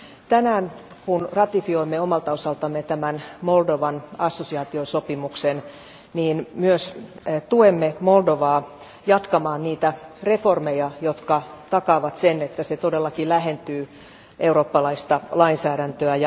Tänään kun ratifioimme omalta osaltamme tämän Moldovan assosiaatiosopimuksen, niin myös tuemme Moldovaa jatkamaan niitä reformeja, jotka takaavat sen, että se todellakin lähentyy eurooppalaista lainsäädäntöä.